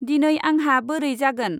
दिनै आंहा बोरै जागोन।